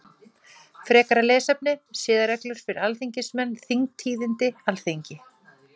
Frekara lesefni: Siðareglur fyrir alþingismenn Þingtíðindi Alþingi.